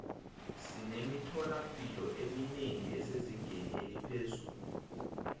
sinemithola mpilo eminengi esezingeni eliphezulu